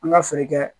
An ka feere kɛ